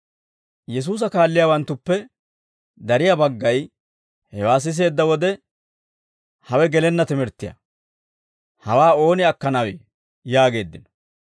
Yesuusa kaalliyaawanttuppe dariyaa baggay hewaa siseedda wode, «Hawe gelenna timirttiyaa; hawaa ooni akkanawee?» yaageeddino.